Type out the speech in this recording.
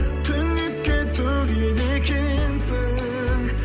түнекке төгеді екенсің